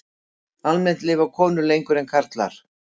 Almennt lifa konur lengur en karlar.